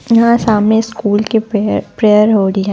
यहाँ सामने स्कूल के प्रे प्रेयर हो रही है।